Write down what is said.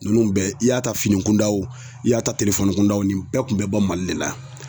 Ninnu bɛɛ i y'a ta fini kundaw i y'a ta kun daw nin bɛɛ tun bɛ bɔ mali le la.